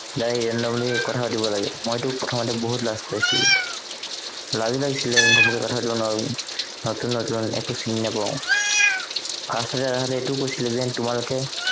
যাই randomly কথা পাতিব লাগে মইতো প্ৰথমতে বহুত লাজ পাইছিলো লাজ লাগিছিলে ঘপককে কথা পাতিব নোৱাৰো নতুন নতুন একো চিনি নাপাও first তে সিহঁতে এইটো কৈছিলে যেন তোমালোকে